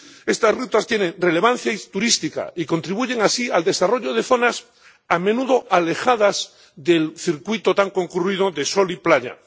Estas rutas tienen relevancia turística y contribuyen así al desarrollo de zonas a menudo alejadas del circuito tan concurrido de sol y playa.